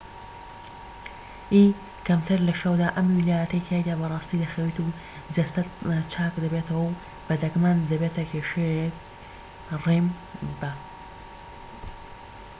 بە remی کەمتر لە شەودا، ئەم ویلایەتەی تیایدا بە ڕاستی دەخەویت و جەستەت چاک دەبێتەوە و بە دەگمەن دەبێتە کێشەیەک